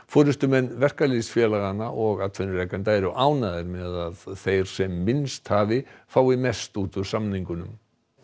forystumenn verkalýðsfélaganna og atvinnurekenda eru ánægðir með að þeir sem minnst hafi fái mest út úr samningunum